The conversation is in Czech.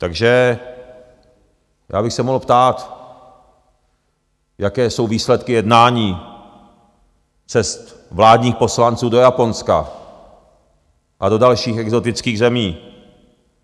Takže já bych se mohl ptát, jaké jsou výsledky jednání, cest vládních poslanců do Japonska a do dalších exotických zemí.